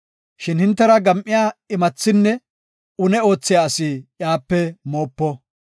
Shin hintera gam7iya imathinne une oothiya asi iyape moopo.